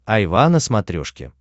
айва на смотрешке